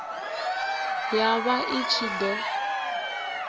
ya vha i ṱshi ḓo